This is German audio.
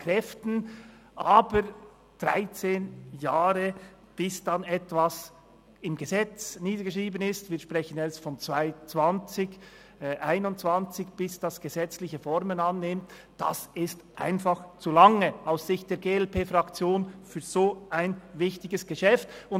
Aber 13 Jahre, bis dann endlich etwas im Gesetz niedergeschrieben ist – wir sprechen davon, dass es 2020/21 wird, bis es gesetzliche Formen annimmt –, das ist aus Sicht der glp-Fraktion für ein so wichtiges Geschäft einfach zu lange.